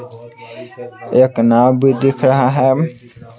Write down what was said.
एक नाव् भी दिख रहा है।